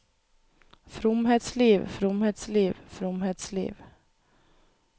fromhetsliv fromhetsliv fromhetsliv